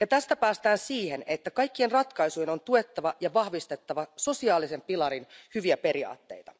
Ja tästä päästään siihen, että kaikkien ratkaisujen on tuettava ja vahvistettava sosiaalisen pilarin hyviä periaatteita.